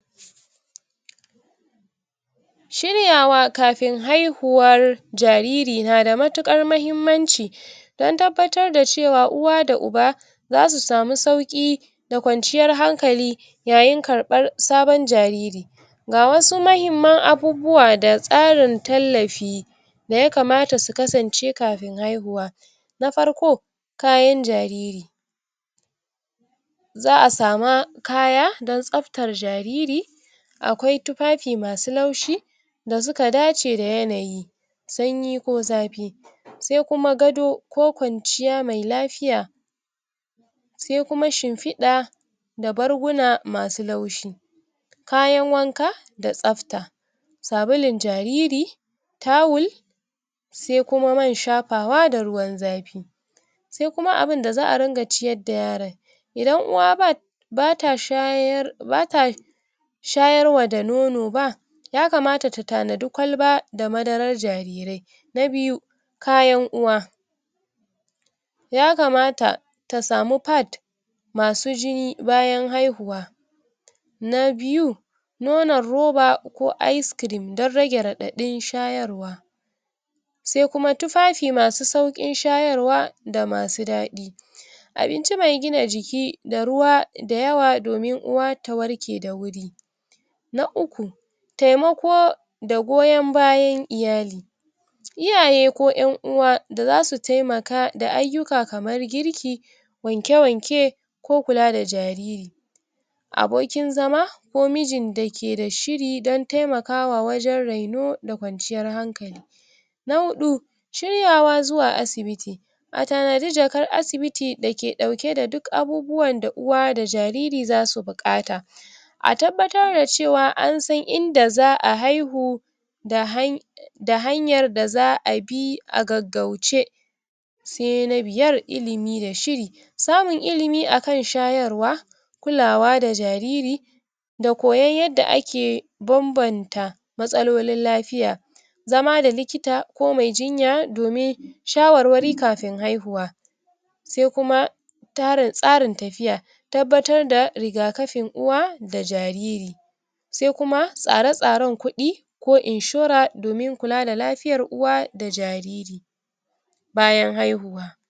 idan jariri idan jariri ƙar ƙarƙashin ƙarƙashin shekara ɗaya ya fara toshe toshewar mo maƙoshi sabo saboda wani abu ya shiga yana yana da muhimminci yana da muhimmanci a gara a gaggauta a gaggauta ɗaukar ɗaukar mataki domin cutar cutar rayuwar donim ceto rayuwar sa ga ga yadda ga yadda za'a taimaka za'a taimaka za'a taimaka a lu a lu ala alamomi alamomi toshe toshewar maƙogaro wuri jariri yana yana ƙoƙar yana yana yana ƙoƙarin yin yin ko ko kuɗa yana ƙoƙarin yin kuɗa amafni da amfani da iya ya iya fitar ya iya fitar zai fidda sauti yana yana ha hadi hadi hadi iya is iska iska ko yana yan nuna yana yana nuna ala alamomi yana nuna alamomir alamomi alamomi halar wahalar mu in mu mu munfashi yana wahalar numfashi tabbas tabba tabbatar tabbatar cewa yana yana yana nufin ya ya yana num numfashi da da wuya amma amma yana rayuwa [uhmm] kar karka tsokalo karka tsokalo bakin bakin jariri da da yatsa sai idan kaga abin da ya toshe